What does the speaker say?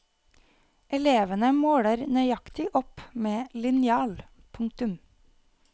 Elevene måler nøyaktig opp med linjal. punktum